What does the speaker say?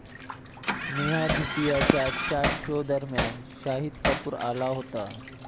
नेहा धुपियाच्या chat show दरम्यान शाहिद कपूर आला होता.